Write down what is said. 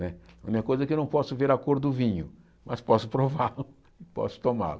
Né a minha coisa é que eu não posso ver a cor do vinho, mas posso prová-lo, posso tomá-lo.